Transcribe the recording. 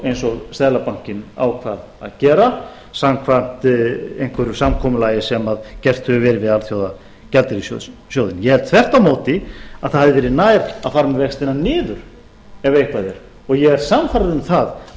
eins og seðlabankinn ákvað að gera samkvæmt einhverju samkomulagi sem gert hefur verið við alþjóðagjaldeyrissjóðinn ég held þvert á móti að það hefði verið nær að fara með vextina niður ef eitthvað er ég er sannfærður um